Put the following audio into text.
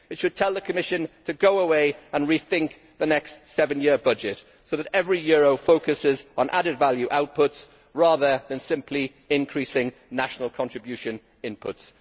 It should tell the Commission to go away and rethink the next seven year budget so that every euro focuses on added value outputs, rather than simply increasing national contribution inputs.